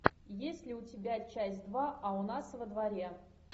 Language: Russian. есть ли у тебя часть два а у нас во дворе